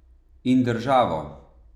In državo.